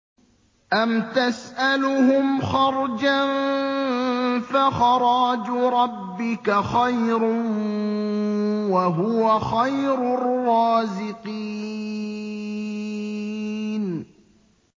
أَمْ تَسْأَلُهُمْ خَرْجًا فَخَرَاجُ رَبِّكَ خَيْرٌ ۖ وَهُوَ خَيْرُ الرَّازِقِينَ